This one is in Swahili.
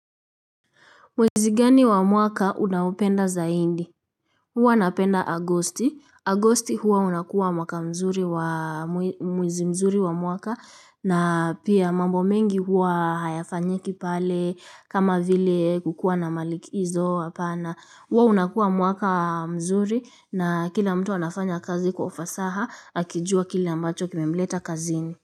Mwezi gani wa mwaka unaupenda zaindi? Huwa napenda agosti. Agosti huwa unakuwa mwaka mzuri wa, mwezi mzuri wa mwaka na pia mambo mengi huwa hayafanyiki pale kama vile kukuwa na malikizo hapana. Huwa unakuwa mwaka mzuri na kila mtu anafanya kazi kwa ufasaha akijua kile ambacho kimemleta kazini.